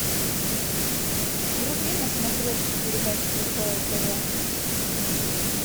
вруби на смотрешке передачу кхл тв